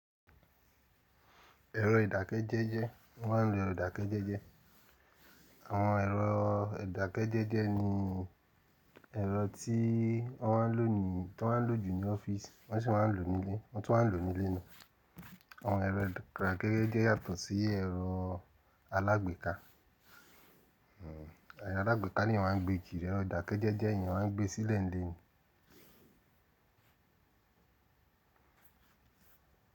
Ẹ̀rọ ìdàkejẹẹjẹ, mo ma ń lo ẹ̀rọ ìdàkejẹẹjẹ. Àwọn ẹ̀rọ ìdàkejẹẹjẹ ni ẹ̀rọ tí wọ́n ma ń lò ní, tó máa ń lò jù ní ọ́fíìsì wọ́n sì máa ń lò nílé, wọn tún máa n lò nílé na. Àwọn ẹ̀rọ ìdàkejẹẹjẹ yàtọ̀ sí ẹ̀rọ alágbèéká. Ẹrọ alágbèéká ni èèyàn máa ń gbé kiri, ẹ̀rọ ìdàkejẹẹjẹ èèyàn máa ń gbé sílẹ̀ nílé ni.